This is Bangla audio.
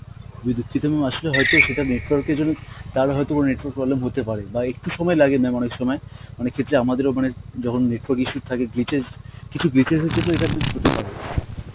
খুব ই দুঃখিত mam, আসলে হয়েত সেটা network এর জন্য, তার হয়েত network problem হতে পারে বা একটু সময় লাগে mam অনেক সময়, অনেক ক্ষেত্রে আমাদের ও মানে যখন network issue থাকে glitches কিছু glitches এর জন্যে ইটা mam হতে পারে.